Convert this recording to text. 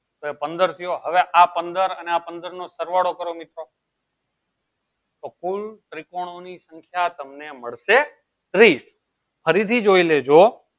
પંદર થયો હવે આ પંદર અને આ પંદર સરવાળો કરો મિત્રો તો કુલ ત્રિકોણની સંખ્યા તમને મળશે ત્રીસ ફરીથી જોઈ લેજો